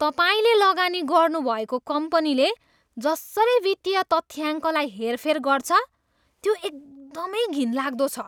तपाईँले लगानी गर्नुभएको कम्पनीले जसरी वित्तीय तथ्याङ्कलाई हेरफेर गर्छ, त्यो एकदमै घिनलाग्दो छ।